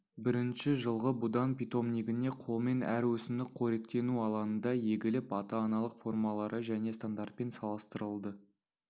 бірінші жылғы будан питомнигіне қолмен әр өсімдік қоректену алаңында егіліп ата-аналық формалары және стандартпен салыстырылды